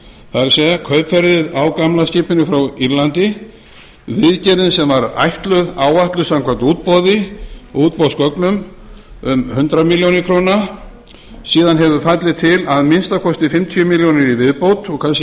það er kaupverðið á gamla skipinu frá írlandi viðgerðin sem var áætluð samkvæmt útboðsgögnum um hundrað milljónir króna síðan hafa fallið til að minnsta kosti fimmtíu milljónir í viðbót og kannski